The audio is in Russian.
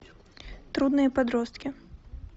трудные подростки